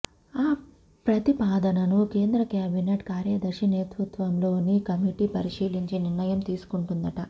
ఆ ప్రతిపాదనను కేంద్ర కేబినెట్ కార్యదర్శి నేతృత్వంలోని కమిటీ పరిశీలించి నిర్ణయం తీసుకుంటుందట